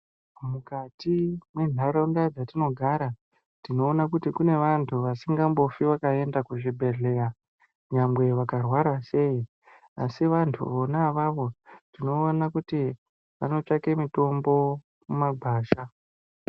Mukati mwenharaunda dzatinogara, tinoona kuti kune vantu vasingambofi vakaenda kuzvibhedhleya nyangwe vakarwara sei, asi vantu vona avavo ,tinoona kuti vanotsvake mitombo mumagwasha.